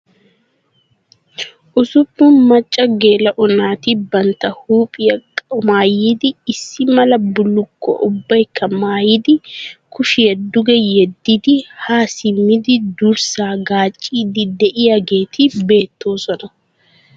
Usuppun macca geela'o naati bantta huuphiya qumaayidi issi mala bullukkuwa ubbaykka mayidi kushiya duge yeddidi haa simmidi durssaa gaacciiddi diyageeti beettoosona.